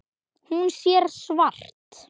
Hún sér svart.